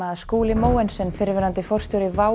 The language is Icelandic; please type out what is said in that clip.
Skúli Mogensen fyrrverandi forstjóri WOW